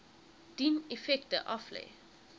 dien effekte aflê